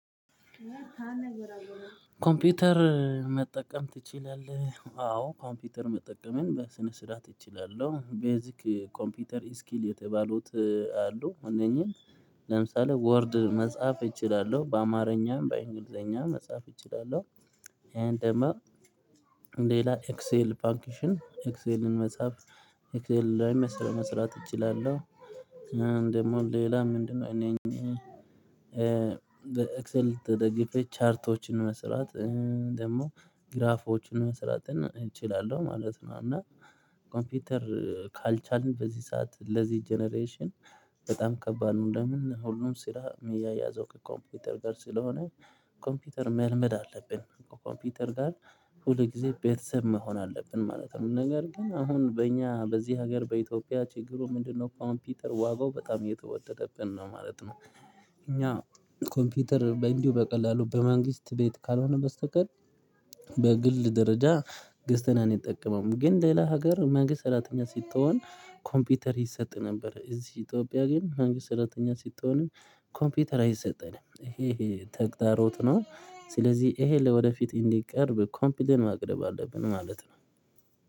ኮምፒውተር መጠቀም ትችላለህ? አዎ ኮምፒውተር መጠቀምን በስነ ስርዓት እችላለሁ። ቤዚክ ኮምፒውተር ስኪል የተባሉት አሉ። እነኚህን ለምሳሌ ወርድ መጽሐፍ እችላለሁ በአማርኛም በእንግሊዝኛም መጽሐፍ እችላለሁ። ይሄን ደግሞ ሌላ ኤክሴል ፋንክሽን ኤክሴልን መጻፍ ኤክሴል ላይ መስራት እችላለሁ። ደሞም ሌላ ምንድነው? እነ ኝ በኤክሰል ተደግፌ ቻርቶችን መስራት ደግሞ ግራፎችን መስራት እችላለሁ ማለት ነው። እና ኮምፒውተር ካልቻልን በዚህ ሰዓት ለዚህ ጀነሬሽን በጣም ከባድ ነው። ለምን ሁሉም ስራ የሚያያዘው ከኮምፒውተር ጋር ስለሆነ ኮምፒውተር መልመድ አለብን። ከኮምፒውተር ጋር ሁል ጊዜ ቤተሰብ መሆን አለብን ማለት ነው። ነገር ግን አሁን በእኛ በዚህ ሀገር በኢትዮጵያ ችግሩ ምንድነው? ኮምፒውተር ዋጋው በጣም እየተወደደብን ነው ማለት ነው። እኛ ኮምፒውተር በእንዲሁ በቀላሉ በመንግስት ቤት ካልሆነ በስተቀር በግል ደረጃ ገዝተን አንጠቀመውም። ግን ሌላ ሀገር መንግስት ሰራተኛ ስትሆን ኮምፒውተር ይሰጥ ነበር። እዚህ ኢትዮጵያ ግን መንግስት ሰራተኛ ስትሆንም ኮምፒውተር አይሰጠንም ይሄ ይሄ ተግዳሮት ነው። ስለዚህ ይሄ ለወደፊት እንዲቀርብ ኮምፕሌይን ማቅረብ አለብን ማለት ነው